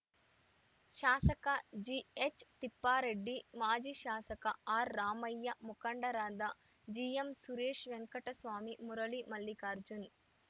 ಶಾಸಕ ಜಿಎಚ್‌ ತಿಪ್ಪಾರೆಡ್ಡಿ ಮಾಜಿ ಶಾಸಕ ಆರ್‌ರಾಮಯ್ಯ ಮುಖಂಡರಾದ ಜಿಎಂ ಸುರೇಶ್‌ ವೆಂಟಕಸ್ವಾಮಿ ಮುರಳಿ ಮಲ್ಲಿಕಾರ್ಜುನ್‌